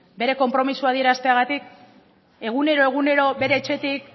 bere konpromisoa adierazteagatik egunero egunero bere etxetik